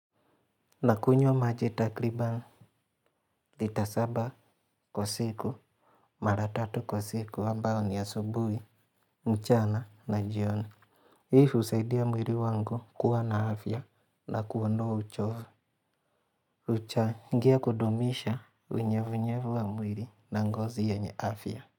Na kunywa maji takriban, lita saba kwa siku, maratatu kwa siku, ambayo ni asubui, mchana na jioni. Hii husaidia mwili wangu kuwa na afya na kuondoa uchovu. hUchngia kudumisha unyevu nyevu wa mwili na ngozi yenye afya.